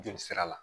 Joli sira la